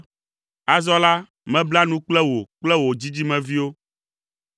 “Azɔ la, mebla nu kple wò kple wò dzidzimeviwo